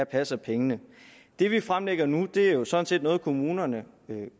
passer pengene det vi fremlægger nu er jo sådan set noget kommunerne